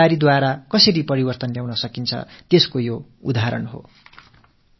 மக்கள் பங்களிப்பு வாயிலாக எப்படி மாற்றத்தை நிகழ்த்த முடியும் என்பதற்கு இது ஒரு எடுத்துக்காட்டு